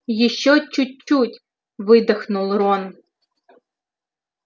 ещё чуть-чуть выдохнул рон